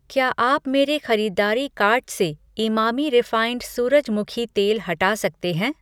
क्या आप मेरे खरीदारी कार्ट से इमामी रिफ़ाइन्ड सूरजमुखी तेल हटा सकते हैं?